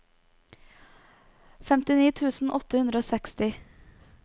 femtini tusen åtte hundre og seksti